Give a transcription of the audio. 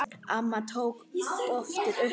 Amma tók oft upp spilin.